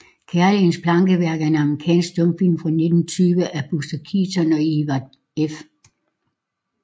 Kærlighedens Plankeværk er en amerikansk stumfilm fra 1920 af Buster Keaton og Edward F